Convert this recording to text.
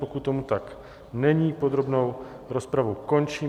Pokud tomu tak není, podrobnou rozpravu končím.